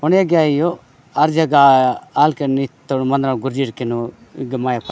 होने क्या ही हो अर्ज गा अलकेन नितोड़ मना गुर्जी केनोन गमाय --